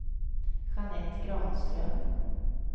Jeanette Granström